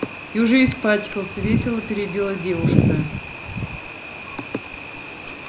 и уже испачкался весело перебила девушка